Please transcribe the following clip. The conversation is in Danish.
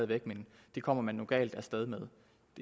det men det kommer man galt af sted med